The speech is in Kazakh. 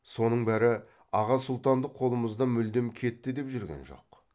соның бәрі аға сұлтандық қолымыздан мүлдем кетті деп жүрген жоқ